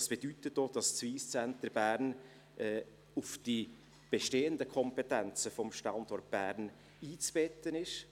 Das bedeutet auch, dass das Wyss Centre Bern in die bestehenden Kompetenzen des Standorts Bern einzubetten ist.